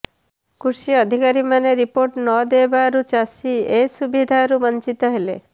କୃଷି ଅଧିକାରୀମାନେ ରିପୋର୍ଟ ନ ଦେବାରୁ ଚାଷୀ ଏ ସୁବିଧାରୁ ବଞ୍ଚିତ ହେଲେ